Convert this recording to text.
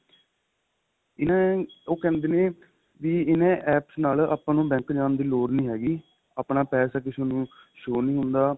ਇੰਨਾ ਉਹ ਕਹਿੰਦੇ ਨੇ ਇੰਨਾ APPS ਨਾਲ ਆਪਾਂ ਨੂੰ bank ਜਾਣ ਦੀ ਲੋੜ ਨਹੀਂ ਹੈਗੀ ਆਪਣਾ ਪੇਸਾ ਕਿਸੇ ਨੂੰ show ਨੀਂ ਹੁੰਦਾ